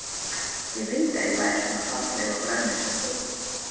Ég vildi að ég væri svona falleg og grönn eins og þú.